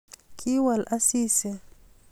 Kiwol Asisi